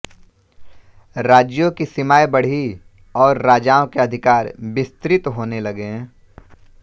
राज्यों की सीमाएँ बढ़ीं और राजाओं के अधिकार विस्तृत होने लगे